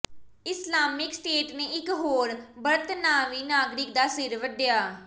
Islamic State ਨੇ ਇਕ ਹੋਰ ਬਰਤਾਨਵੀ ਨਾਗਰਿਕ ਦਾ ਸਿਰ ਵੱਢਿਆ